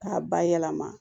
K'a bayɛlɛma